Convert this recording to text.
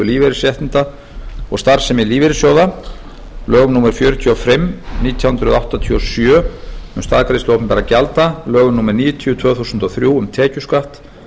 lífeyrisréttinda og starfsemi lífeyrissjóða lögum númer fjörutíu og fimm nítján hundruð áttatíu og sjö um staðgreiðslu opinberra gjalda lögum númer níutíu tvö þúsund og þrjú um tekjuskatt